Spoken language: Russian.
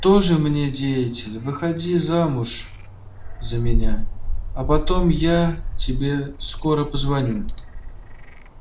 тоже мне деятель выходи замуж за меня а потом я тебе скоро позвоню